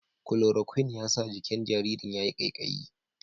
Kulorokwin ya sa jikin jaririn ya yi ƙaiƙayi.